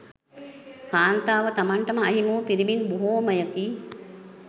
කාන්තාව තමන් ට අහිමි වූ පිරිමින් බොහෝමයකි.